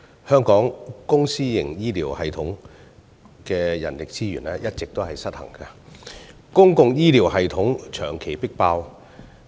香港公私營醫療系統的人力資源一直失衡，公營醫療系統長期迫爆。